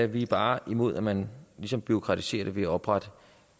vi er bare imod at man ligesom bureaukratiserer det ved at oprette